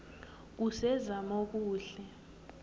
kusezamokuhle